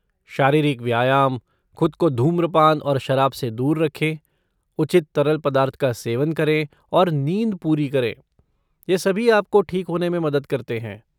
शारीरिक व्यायाम, खुद को धूम्रपान और शराब से दूर रखें, उचित तरल पदार्थ का सेवन करें और नींद पूरी करें, ये सभी आपको ठीक होने में मदद करते हैं।